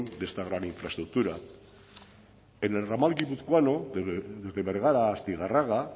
de esta gran infraestructura en el ramal guipuzcoano desde bergara a astigarraga